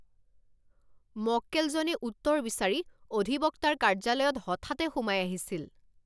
মক্কেলজনে উত্তৰ বিচাৰি অধিবক্তাৰ কাৰ্য্যালয়ত হঠাতে সোমাই আহিছিল!